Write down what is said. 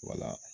Wala